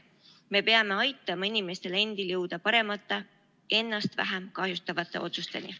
Me peame aitama inimestel endil jõuda paremate, ennast vähem kahjustavate otsusteni.